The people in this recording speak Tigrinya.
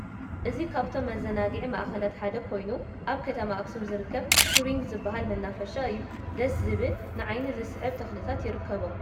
እዚ ካብቶም መዘናግዒ ማእከላት ሓደ ኮይኑ ኣብ ከተማ ኣክሱም ዝርከብ ቱሪንግ ዝበሃል መናፋሻ እዩ። ደስ ዝበል ን ዓይኒ ዝስሕብ ተክልታት ይርከቦ።